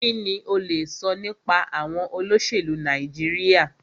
Kínní o lè sọ nípa àwọn olóṣèlú Nàìjíríà?